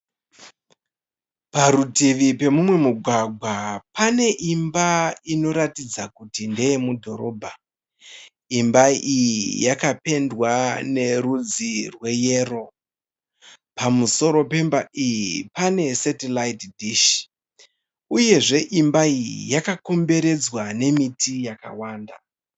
Parutivi pemumwe mugwagwa pane imba inoratidza kuti ndeye mudhorobha, imba iyi yakapendwa nerudzi rweyero, pamusoro pemba iyi pane setilaiti dhishi, uye zve imba iyi yakakomberedzwa nemiti yakawanda.